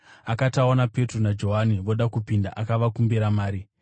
Akati aona Petro naJohani voda kupinda, akavakumbira mari.